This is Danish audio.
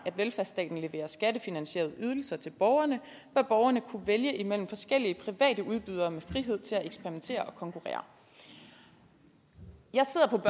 velfærdsstaten leverer skattefinansierede ydelser til borgerne bør borgerne kunne vælge imellem forskellige udbydere med frihed til at eksperimentere og konkurrere jeg sidder